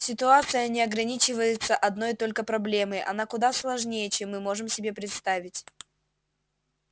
ситуация не ограничивается одной только проблемой она куда сложнее чем мы можем себе представить